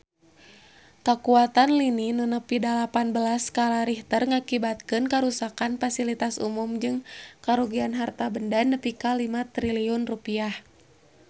Kakuatan lini nu nepi dalapan belas skala Richter ngakibatkeun karuksakan pasilitas umum jeung karugian harta banda nepi ka 5 triliun rupiah